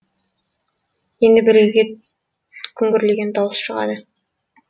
енді бір үйде күңгірлеген дауыс шығады